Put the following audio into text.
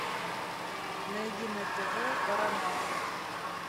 найди на тв парамаунт